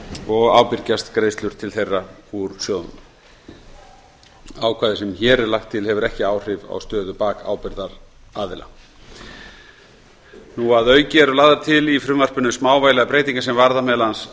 og ábyrgjast greiðslur til þeirra úr sjóðnum ákvæðið sem hér er lagt til hefur ekki áhrif á stöðu bakábyrgðaraðila að auki eru lagðar til í frumvarpinu smávægilegar breytingar sem varða meðal annars